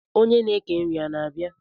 onye na eke nri a na-abia?